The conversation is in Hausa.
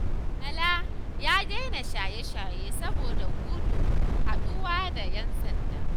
Bala ya daina shaye-shaye saboda gudun haɗuwa da 'yan sanda.